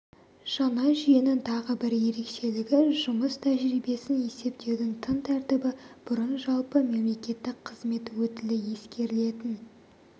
жаңа жүйенің тағы бір ерекшелігі жұмыс тәжірибесін есептеудің тың тәртібі бұрын жалпы мемлекеттік қызмет өтілі ескерілетін